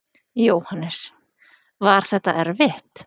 Jóhannes: Var þetta erfitt?